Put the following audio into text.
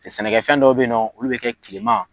Cɛ sɛnɛkɛ fɛn dɔw be yen nɔ, olu be kɛ kileman